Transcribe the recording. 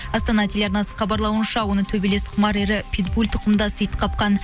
астана телеарнасы хабарлауынша оны төбелес питбуль тұқымдас ит қапқан